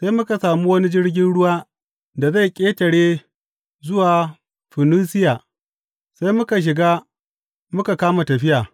Sai muka sami wani jirgin ruwa da zai ƙetare zuwa Funisiya, sai muka shiga muka kama tafiya.